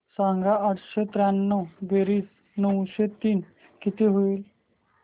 सांग आठशे त्र्याण्णव बेरीज नऊशे तीन किती होईल